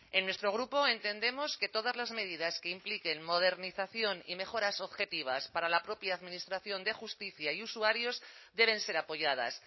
en nuestro grupo entendemos que todas las medidas que impliquen modernización y mejoras objetivas para la propia administración de justicia y usuarios deben ser apoyadas